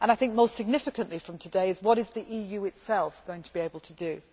I think most significant from today is what is the EU itself going to be able to do?